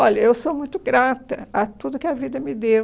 Olha, eu sou muito grata a tudo que a vida me deu.